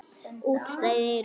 Útstæð eyru.